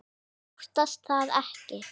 Ég óttast það ekki.